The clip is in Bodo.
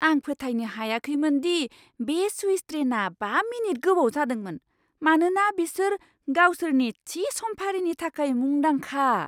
आं फोथायनो हायाखैमोन दि बे स्विस ट्रेनआ बा मिनिट गोबाव जादोंमोन, मानोना बिसोर गावसोरनि थि समफारिनि थाखाय मुंदांखा!